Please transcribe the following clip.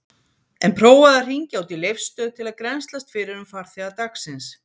En prófaðu að hringja út í Leifsstöð til að grennslast fyrir um farþega dagsins.